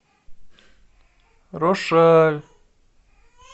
рошаль